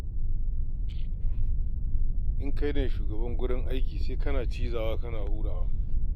In kai ne shugaba a wurin aiki sai kana cizawa kana hurawa.